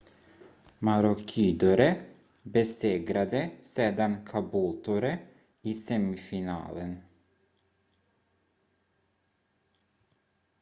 maroochydore besegrade sedan caboolture i semifinalen